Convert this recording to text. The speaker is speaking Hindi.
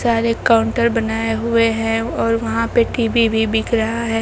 सारे काउंटर बनाए हुए है और वहां पे टी_वी भी बिक रहा है।